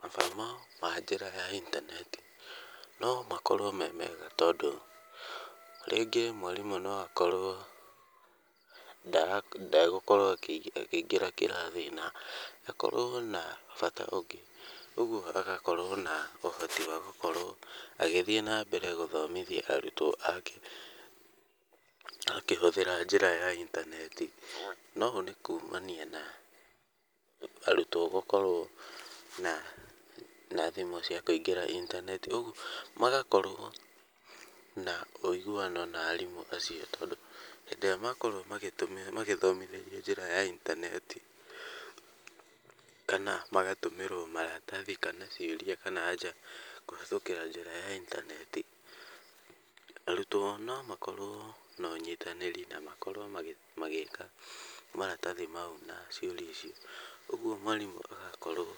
Mathomo na njĩra ya intaneti no makorwo me mega tondũ rĩngĩ mwarimũ no akorwo ndegũkorwo akĩingĩra kĩrathi na akorwo na bata ũngĩ. Ũguo agakorwo na ũhoti wa gũkorwo agĩthiĩ na mbere na gũthomithia arutwo ake akĩhũthĩta njĩra ya intaneti. Na ũũ nĩ kuumania na thimũ cia kũingĩra intaneti ũguo magakorwo na ũiguano na arimũ acio. Tondũ hĩndĩ ĩrĩa makorwo magĩthomithĩrio njĩra ya intaneti, kana magatũmĩrwo maratathi kana ciũria kana aanja kũhĩtũkĩra njĩra ya intaneti, arutwo no makorwo na ũnyitanĩrĩ na makorwo magĩĩka maratathi mau na ciuria icio. Ũguo mwarimũ agakorwo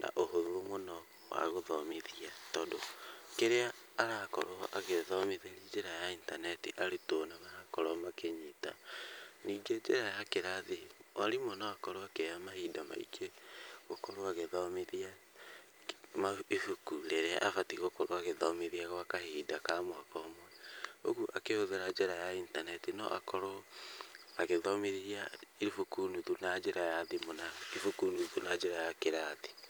na ũhũthũ mũno wa gũthomithia tondũ kĩrĩa arakorwo agĩthomithĩria njĩra ya intaneti arutwo nĩ marakorwo makĩnyita. Ningĩ njĩra ya kĩrathi rĩ mwarimũ no akorwo akĩoya mahinda maingĩ gũkorwo agĩthomithia ibuku rĩrĩa abatiĩ gũkorwo agĩthomithia gwa kahinda ka mwaka ũmwe. Ũguo akĩhũthĩra njĩra ya intaneti no akorwo agĩthomithia ibuku nuthu na njĩra ya thimũ na ibuku nuthu na njĩra ya kĩrathi.